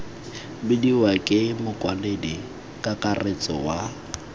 bidiwa ke mokwaledi kakaretso wa